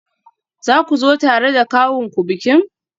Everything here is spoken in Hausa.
Za ku zo tare da kawunku bikin?